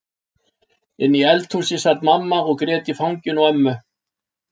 Inni í eldhúsi sat mamma og grét í fanginu á ömmu.